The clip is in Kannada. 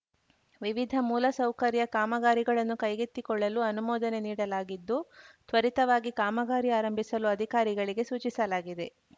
ವಿವಿಧ ಮೂಲಸೌಕರ್ಯ ಕಾಮಗಾರಿಗಳನ್ನು ಕೈಗೆತ್ತಿಕೊಳ್ಳಲು ಅನುಮೋದನೆ ನೀಡಲಾಗಿದ್ದು ತ್ವರಿತವಾಗಿ ಕಾಮಗಾರಿ ಆರಂಭಿಸಲು ಅಧಿಕಾರಿಗಳಿಗೆ ಸೂಚಿಸಲಾಗಿದೆ